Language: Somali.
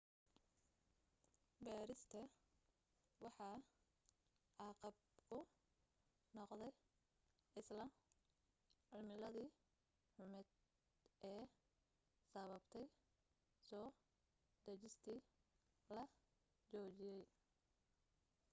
baadhista waxa caqab ku noqday isla cimiladii xumayd ee sababtay soo degistii la joojiyay